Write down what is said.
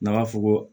N'a b'a fɔ ko